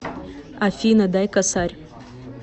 афина дай косарь